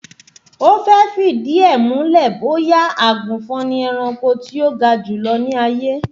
Ó fẹ́ fìdí ẹ̀ múlẹ̀ bóyá àgùnfọn ni ẹranko tí ó ga jùlọ ní ayé